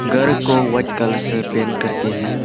घर को white colour से पेंट करके है।